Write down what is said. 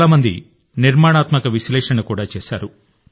చాలా మంది నిర్మాణాత్మక విశ్లేషణ కూడా చేశారు